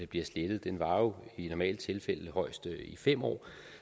bliver slettet den varer jo i normale tilfælde højst fem år